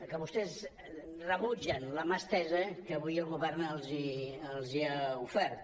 que vostès rebutgen la mà estesa que avui el govern els ha ofert